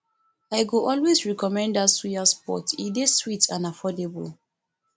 i go always recommend dat suya spot e dey sweet and affordable